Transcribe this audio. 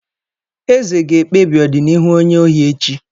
Eze ga-ekpebi ọdịnihu onye ohi echi.